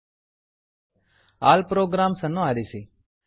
all programs all programs ಅನ್ನು ಆರಿಸಿ